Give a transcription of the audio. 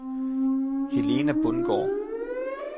Helena Bundgaard